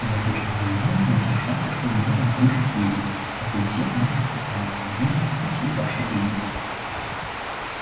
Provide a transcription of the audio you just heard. я точно не знаю но все шансы что у меня там крыша съедет как и у всех наших пацанов наверное как у всей вашей бригады